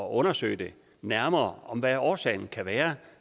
at undersøge nærmere hvad årsagen kan være